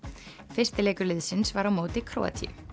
fyrsti leikur liðsins var á móti Króatíu